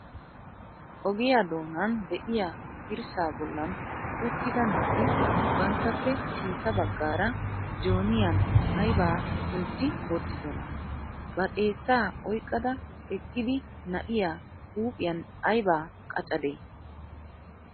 Ogiyaa doonan de'iyaa dirssa bollan uttida naati banttappe sintta baggaara jooniyan aybba kuntti wottidona? Ba xeessa oyqqada eqqidi na'iya huuphiyan aybba qaccade?